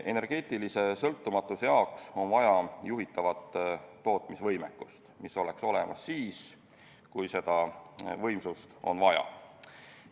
Energeetilise sõltumatuse jaoks on vaja juhitavat tootmisvõimekust, mis oleks olemas siis, kui seda võimsust on vaja.